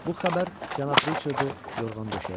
Bu xəbər cənab Riçardı yorğan döşəyə salır.